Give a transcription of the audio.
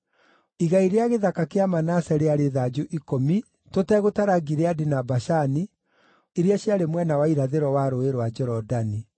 Igai rĩa gĩthaka kĩa Manase rĩarĩ thanju ikũmi tũtegũtara Gileadi na Bashani iria ciarĩ mwena wa irathĩro wa Rũũĩ rwa Jorodani,